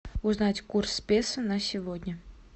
узнать курс песо на сегодня